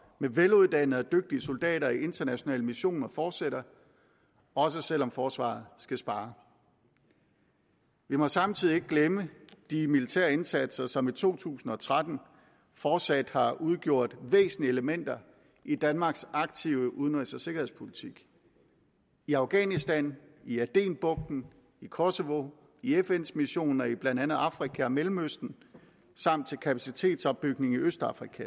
med veluddannede og dygtige soldater i internationale missioner fortsætter også selv om forsvaret skal spare vi må samtidig ikke glemme de militære indsatser som i to tusind og tretten fortsat har udgjort væsentlige elementer i danmarks aktive udenrigs og sikkerhedspolitik i afghanistan i adenbugten i kosovo i fns missioner i blandt andet afrika og mellemøsten samt i kapacitetsopbygning i østafrika